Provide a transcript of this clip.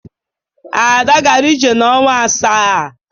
Ada gara ije n'ọnwa asaa.